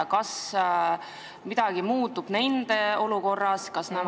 Kas midagi muutub nende olukorras?